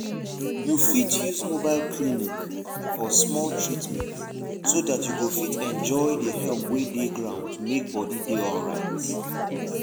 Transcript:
you fit use mobile clinic for small treatment so that you go fit enjoy the help wey dey ground to make body dey alright.